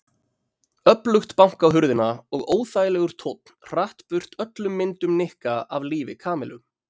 Öflugt bank á hurðina og óþægilegur tónn hratt burt öllum myndum Nikka af lífi Kamillu.